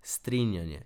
Strinjanje.